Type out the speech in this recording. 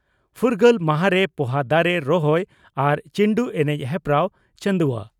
ᱯᱷᱩᱨᱜᱟᱹᱞ ᱢᱟᱦᱟᱨᱮ ᱯᱚᱦᱟ ᱫᱟᱨᱮ ᱨᱚᱦᱚᱭ ᱟᱨ ᱪᱤᱱᱰᱩ ᱮᱱᱮᱡ ᱦᱮᱯᱨᱟᱣ ᱪᱚᱱᱫᱩᱣᱟ